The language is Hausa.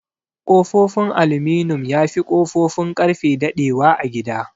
Ƙofofin aluminum yafi Ƙofofin Ƙarfe daɗe wa a gida.